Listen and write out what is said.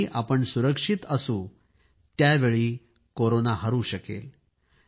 ज्यावेळी आपण सुरक्षित असणार आहे त्याचवेळी कोरोना हरणार आहे